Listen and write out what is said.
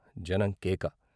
జనం కేక.